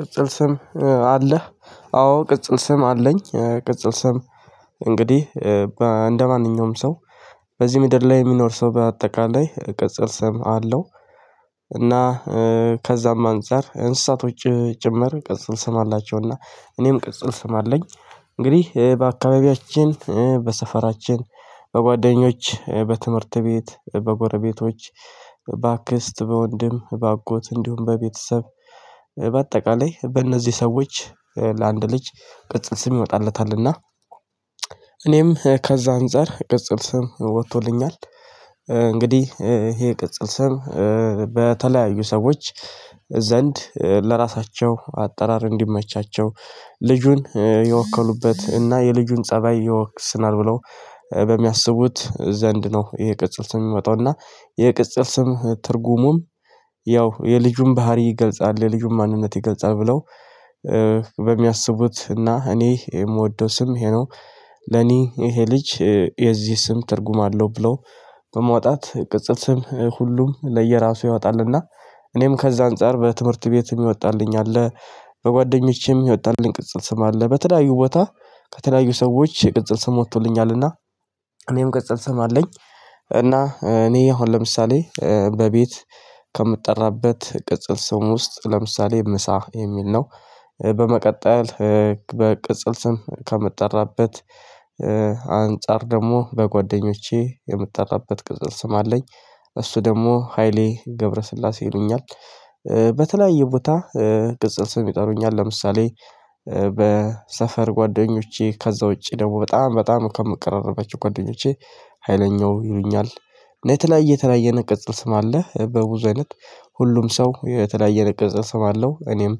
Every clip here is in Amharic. ቅጽል ስም አለህ? አዎ ቅጽል ስም አለኝ ቅጽል ስም እንግዲህ እንደማንኛውም ሰው በዚህ ምድር ላይ የሚኖር ሰው በአጠቃላይ ቅጽል ስም አለው። እና ከዛም አንፃር እንስሳቶች ጭምር ቅጽል ስም አላቸውና እኔም ቅጽል ስም አለኝ። እንግዲህ በአካባቢያችን በሰፈራችን በጓደኞች በትምህርት ቤት በጎረቤቶች በአክስት በወንድም በአጎት እንዲሁም በቤተሰብ በአጠቃላይ በእነዚህ ሰዎች ለአንድ ልጅ ቅጽል ስም ይወጣለታልና። እኔም ከዛ አንፃር ቅጽል ስም ወጥቶልኛል። እንግዲህ ይሄ ቅጽል ስም በተለያዩ ሰዎች ዘንድ ለራሳቸው አጠራር እንዲመቻቸው ልጁን የወከሉበት እና የልጁን ፀባይ ይወክስናል ብለው በሚያስቡት ዘንድ ነው። ይሄ ቅጽል ስም ሚወጣው እና ይሄ ቅጽል ስም ትርጉሙም ያው የልጁን ባህሪ ይገልጻል የልጁን ማንነት ይገልጻል ብለው። በሚያስቡት እና እኔ የምወደው ስም ይሄ ነው። ለኔ ይሄ ልጅ የዚህ ስም ትርጉም አለው ብሎ በመውጣት ቅጽል ስም ሁሉም ለየራሱ ያወጣልና። እኔም ከዛ አንፃር በትምህርት ቤት የሚወጣልኝ አለ። በጓደኞቼም የሚወጣልኝ ቅጽል ስም አለ በለያዩ ቦታ ከተለያዩ ሰዎች የቅጽል ስም ወጥቶልኛልና እኔም ቅጽል ስም አለኝ። እና እኔ አሁን ለምሳሌ በቤት ከምጠራበት ቅጽል ስም ውስጥ ለምሳሌ ምሳ የሚል ነው። በመቀጠል በቅጽል ስም ከምጠራበት አንፃር ደግሞ በጓደኞቼ የምጣራበት ቅጽል ስም አለኝ እሱ ደግሞ ሃይሌ ገብረስላሴ ይሉኛል። በተለያየ ቦታ ቅጽል ስም ይጠሩኛል ለምሳሌ በሰፈር ጓደኞቼ ከዛ ውጪ ደግሞ በጣም በጣም ከምቀራረባቸው ጓደኞቼ ኃይለኛው ይሉኛል። እና የተለያየ የተለያየ ዐይነት ቅጽል ስም አለ በብዙ አይነት ሁሉም ሰው የተለያየ ነገር ስም አለው እኔም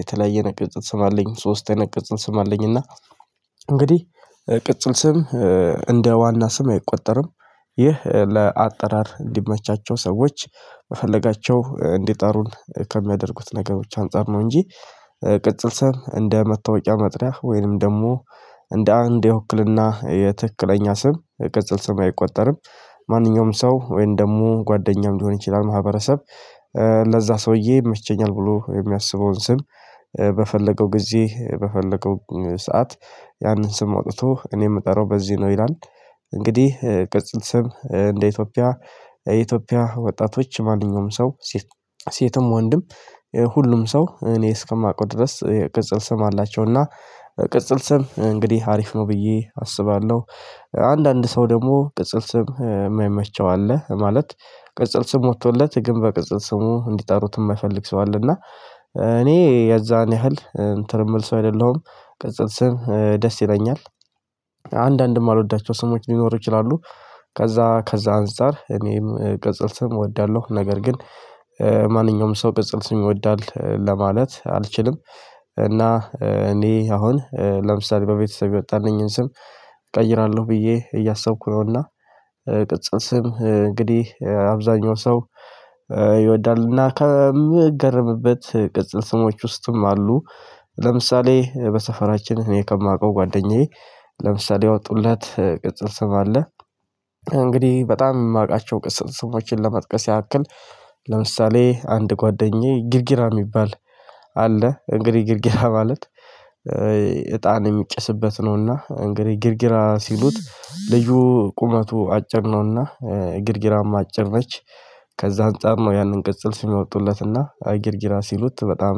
የተለያየ ቅጽል ስም አለኝ ሶስት አይነት ቅጽል ስም አለኝ። እና እንግዲህ ቅጽል ስም እንደ ዋና ስም አይቆጠርም። ይህ ለአጠራር እንዲመቻቸው ሰዎች የፈለጋቸው እንድጠሩን ከሚያደርጉት ነገሮች አንፃር ነው። እንጂ ቅጽል ስም እንደ መታወቂያ መጥሪያ ወይንም ደግሞ እንደ አንድ የዉክልና የትክክለኛ ስም የቅጽል ስም አይቆጠርም። ማንኛውም ሰው ወይም ደግሞ ጓደኛም ሊሆን ይችላል ማህበረሰብ ለዛ ሰውዬ ይመቸኛል ብሎ የሚያስበውን ስም በፈለገው ጊዜ በፈለገው ሰዓት ያንን ስም አውጥቶ እኔ የምጠራው በዚህ ነው ይላል። እንግዲህ ቅጽል ስም እንደ ኢትዮጵያ የኢትዮጵያ ወጣቶች ማንኛውም ሰው ሴትም ወንድም ሁሉም ሰው እኔ እስከማውቀው ድረስ የቅጽል ስም አላቸው። እና ቅጽል ስም እንግዲህ አሪፍ ነው ብዬ አስባለሁ። አንዳንድ ሰው ደግሞ ቅጽል ስም የማይመቸው አለ ማለት ቅጽል ስም ወጥቶለት ግን በቅጽል ስሙ እንዲጠሩት የማይፈልግ ሰው አለ። እና እኔ የዛን ያህል እንትን የምል ሰው አይደለሁም። ቅጽል ስም ደስ ይለኛል። አንዳንድ የማልወዳቸው ስሞች ሊኖሩ ይችላሉ። ከዛ ከዛ አንፃር እኔም ቅጽል ስም እወዳለሁ። ነገር ግን ማንኛውም ሰው ቅጽል ይወዳል ለማለት አልችልም። እና እኔ አሁን ለምሳሌ በቤተሰብ የወጣልኝን ስም እቀይራለሁ ብዬ እያሰብኩ ነውና። ቅጽል ስም እንግዲህ አብዛኛው ሰው ይወዳልና ከምገረምበት ቅጽል ስሞች ውስጥም አሉ ለምሳሌ በሰፈራችን እኔ ከማውቀው ጓደኛዬ ለምሳሌ ያወጡለት ቅጽል ስም አለ። እንግዲህ በጣም የማውቃቸው ቅጽል ስሞችን ለመጥቀስ ያክል ለምሳሌ አንድ ጓደኛዬ ግርግራ የሚባል አለ እንግዲህ ግርግራ ማለት እጣን የሚጭስበት ነውና እንግዲህ ግርግራ ሲሉት ልጁ ቁመቱ አጭር ነውና። ግርግራም አጭር ነች። ከዛ አንፃር ነው ያንን ቅጽል ስም የወጡለትና ግርግራ ስሉት በጣም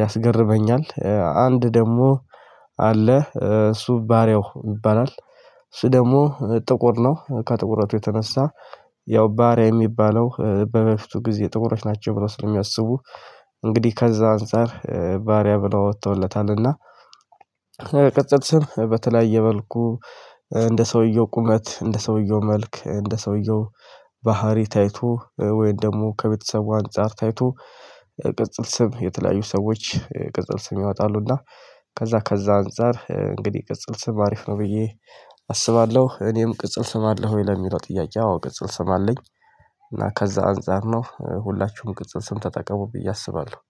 ያስገርመኛል። አንድ ደግሞ አለ እሱ ባሪያው ይባላል። እሱ ደግሞ ጥቁር ነው ከጥቁረቱ የተነሳ ያው ባሪያ የሚባለው በበፊቱ ጊዜ ጥቁሮች ናቸው ብለው ስለሚያስቡ። እንግዲህ ከዛ አንፃር ባሪያ ብለው አወጥተውለታል። እና ቅጽል ስም በተለያየ መልኩ እንደ ሰውየው ቁመት እንደ ሰውየው መልክ እንደ ሰውየው ባህሪ ታይቶ ወይም ደግሞ ከቤተሰቡ አንፃር ታይቶ የቅጽል ስም የተለያዩ ሰዎች ቅጽል ስም ያወጣሉና። ከዛ ከዛ አንፃር እንግዲህ ቅጽል ስም አሪፍ ነው ብዬ አስባለሁ። እኔም ቅጽል ስም አለ ወይ ለሚለው ጥያቄ አዎ ቅጽል ስም አለኝ። እና ከዛ አንፃር ነው ሁላችሁም ቅጽል ስም ተጠቀሙ ብዬ አስባለሁ